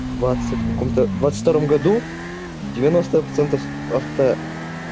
двадцать в каком-тодвадцать втором году девяносто процентов авто